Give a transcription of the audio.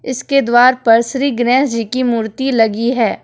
इसके द्वार पर श्री गणेश जी की मूर्ति लगी है।